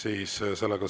Ei soovi.